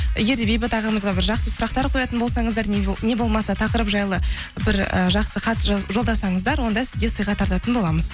егер де бейбіт ағамызға бір жақсы сұрақтар қоятын болсаңыздар не болмаса тақырып жайлы бір ііі жақсы хат жолдасаңыздар онда сізге сыйға тартатын боламыз